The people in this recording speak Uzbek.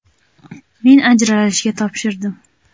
Men ajralishga topshirdim.